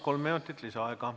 Kolm minutit lisaaega.